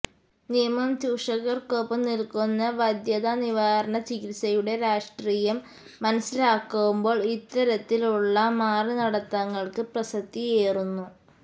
നിയമം ചൂഷകർക്കൊപ്പം നിൽക്കുന്ന വന്ധ്യതാനിവാരണ ചികിത്സയുടെ രാഷ്ട്രീയം മനസിലാക്കുമ്പോൾ ഇത്തരത്തിൽ ഉള്ള മാറിനടത്തങ്ങൾക്ക് പ്രസക്തിയേറുന്നു